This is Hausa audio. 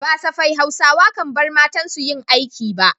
Ba safai Hausawa kan bar matansu yin aiki ba.